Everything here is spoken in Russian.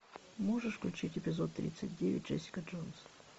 можешь включить эпизод тридцать девять джессика джонс